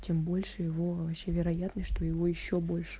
тем больше его вообще вероятность что его ещё больше